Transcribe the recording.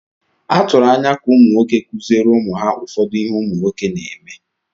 Atụrụ anya ka ụmụ nwoke kụziere ụmụ ha ụfọdụ ihe “nwoke” na-eme.